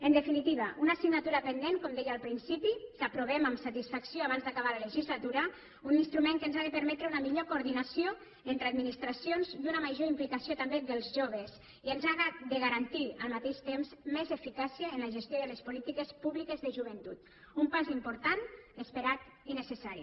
en definitiva una assignatura pendent com deia al principi que aprovem amb satisfacció abans d’acabar la legislatura un instrument que ens ha de permetre una millor coordinació entre administracions i una major implicació també dels joves i ens ha de garantir al mateix temps més eficàcia en la gestió de les polítiques públiques de joventut un pas important esperat i necessari